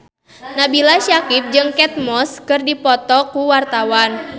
Nabila Syakieb jeung Kate Moss keur dipoto ku wartawan